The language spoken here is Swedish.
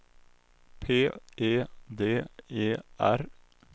P E D E R